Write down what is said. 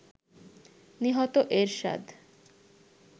নিহত এরশাদ